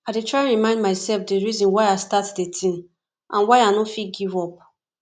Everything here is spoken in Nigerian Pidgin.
i dey try to remind myself di reason why i start di thing and why i no fit give up